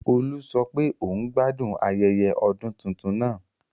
Olú sọ pé òun gbádùn ayẹyẹ ọdún tuntun náà